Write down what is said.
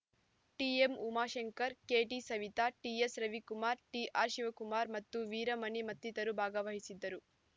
TM Umashankar KT Savita TS Ravikumar TR Shivakumar ಮತ್ತು ವೀರಮಣಿ ಮತ್ತಿತರರು ಭಾಗವಹಿಸಿದ್ದರು